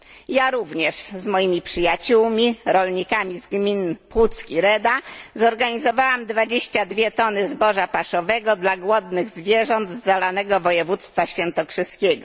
Ja również z moimi przyjaciółmi rolnikami z gmin Puck i Reda zorganizowałam 22 tony zboża paszowego dla głodnych zwierząt z zalanego województwa świętokrzyskiego.